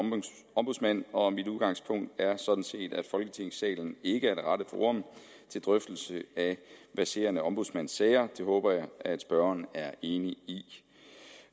ombudsmand og mit udgangspunkt er sådan set at folketingssalen ikke er det rette forum til drøftelse af verserende ombudsmandssager det håber jeg at spørgeren er enig i